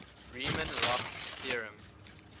riemann roch theorem